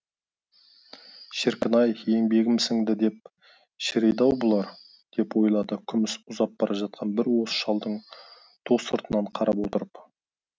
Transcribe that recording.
шіркін ай еңбегім сіңді деп шірейді ау бұлар деп ойлады күміс ұзап бара жатқан бір уыс шалдың ту сыртынан қарап отырып